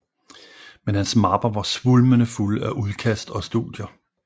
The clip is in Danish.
Men hans mapper var svulmende fulde af udkast og studier